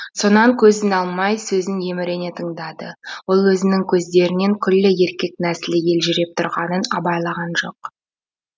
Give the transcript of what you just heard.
сонан көзін алмай сөзін емірене тыңдады ол өзінің көздерінен күллі еркек нәсілі елжіреп тұрғанын абайлаған жоқ